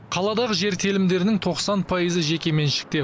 қаладағы жер телімдерінің тоқсан пайызы жеке меншікте